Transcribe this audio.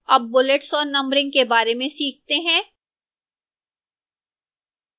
अब bullets और numbering के बारे में सीखते हैं